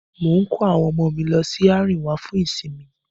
Mò ń kó àwọn ọmọ mi lọ Àríwá fún ìsinmi